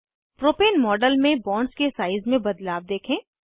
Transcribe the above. propane model में bonds के size में बदलाव देखें